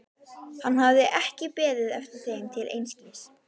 Hann hafði ekki beðið eftir þeim til einskis.